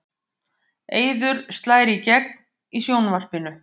Eiður slær í gegn í sjónvarpinu